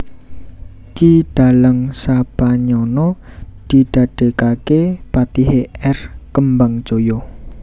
Ki Dalang Sapanyana didadékaké patihé R Kembangjaya